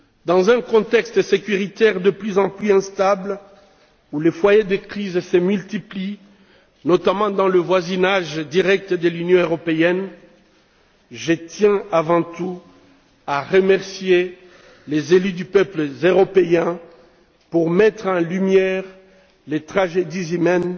Dans un contexte sécuritaire de plus en plus instable où les foyers de crise se multiplient, notamment dans le voisinage direct de l'Union européenne, je tiens avant tout à remercier les élus des peuples européens de mettre en lumière les tragédies humaines